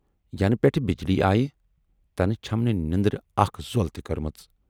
یَنہٕ پٮ۪ٹھٕ بجلی آیہِ تنہٕ چھَم نہٕ نٮ۪ندرِ اکھ زۅل تہِ کٔرمٕژ۔